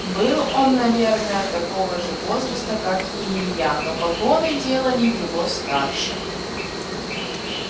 был он наверное такого же возраста как и илья но погоны делали его старше